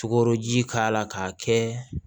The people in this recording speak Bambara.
Sukoroji k'a la k'a kɛ